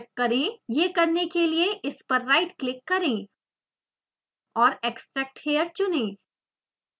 यह करने के लिए इस पर राइटक्लिक करें और extract here चुनें